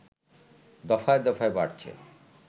দফায় দফায় বাড়ছে